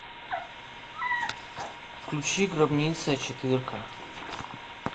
включи гробница четыре ка